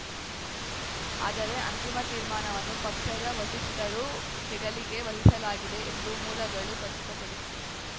ಆದರೆ ಅಂತಿಮ ತೀರ್ಮಾನವನ್ನು ಪಕ್ಷದ ವಸಿಷ್ಠರು ಹೆಗಲಿಗೆ ವಹಿಸಲಾಗಿದೆ ಎಂದು ಮೂಲಗಳು ಖಚಿತಪಡಿಸಿವೆ